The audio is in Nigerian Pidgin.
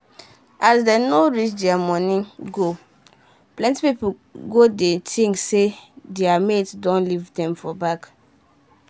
as dem no reach dia money goalplenty pipu go dey think say dia mate don leave dem for back.